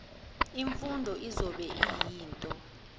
imfundo izobe iyinto